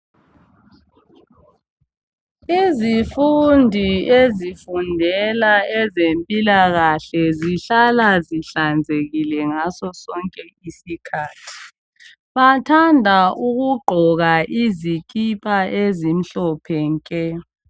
Izifundi ezifundela ezempilakahle zihlala zihlanzekile ngaso sonke isikhathi. Bathanda ukugqoka izikipa ezimhlophe nke.